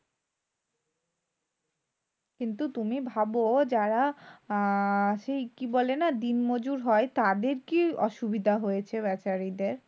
কিন্তু তুমি ভাব যারা আহ সেই কি বলে না? দিনমজুর হয়, তাদের কি অসুবিধা হয়েছে বেচারাদের?